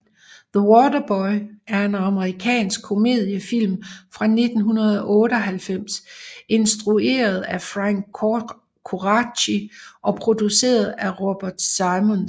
The Waterboy er en amerikansk komediefilm fra 1998 instrueret af Frank Coraci og produceret af Robert Simonds